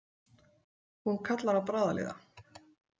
Hún kallar á bráðaliða.